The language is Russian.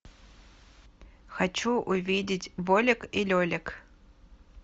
хочу увидеть болек и лелик